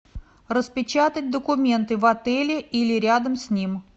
распечатать документы в отеле или рядом с ним